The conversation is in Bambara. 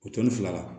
O tɔnni fila la